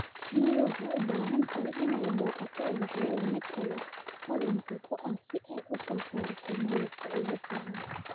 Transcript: Shinnidu waxay u baahan tahay inay booqato ubaxyada nectar-ka hodanka ku ah si ay u soo saarto malabka ugu fiican.